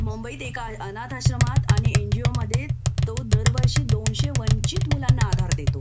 मुंबईत एका अनाथाश्रमात आणि एन जी ओमध्ये तो दरवर्षी दोनशे वंचित मुलांना आधार देतो